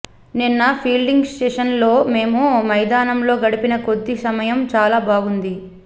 నిన్న ఫీల్డింగ్ సెషన్లో మేము మైదానంలో గడిపిన కొద్ది సమయం చాలా బాగుంది